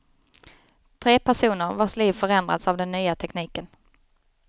Tre personer, vars liv förändrats av den nya tekniken.